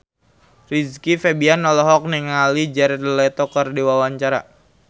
Rizky Febian olohok ningali Jared Leto keur diwawancara